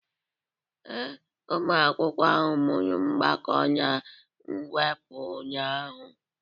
Ee, ụmụ akwụkwọ ahụ mụrụ mgbakọ na mwepụ ụnyahụ.